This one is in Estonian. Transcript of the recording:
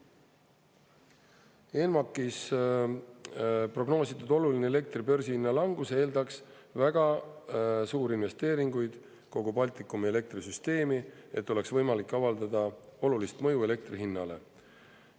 ENMAK-is prognoositud oluline elektri börsihinna langus eeldaks väga suuri investeeringuid kogu Baltikumi elektrisüsteemi, et oleks võimalik avaldada olulist mõju elektri hinnale.